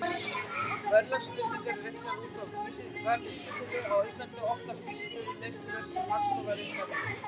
Verðlagsbreytingar eru reiknaðar út frá verðvísitölum, á Íslandi oftast vísitölu neysluverðs sem Hagstofan reiknar út.